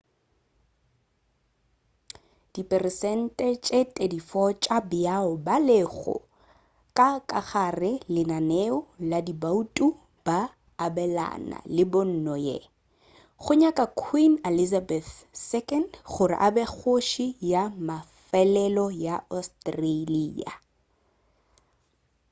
diperesente tše 34 tša bao ba lego ka gare ga lenaneo la diboutu ba abelana le pono ye go nyaka queen elizabeth ii gore a be kgoši ya mafelelo ya australia